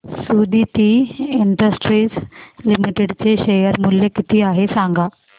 Suditi industries limited चे share मूल्य किती आहे सांगा